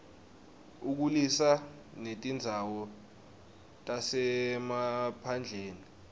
ukhulisa netindzawo tasemaphandleni